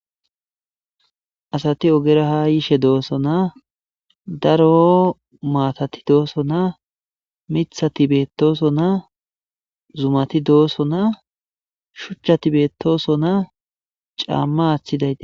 Asati ogera ha yishe dooso naa daro maatati dooso naa mithati beettooso naa zumati doosso naa shuchchati beettooso naa caamma aaththidaye.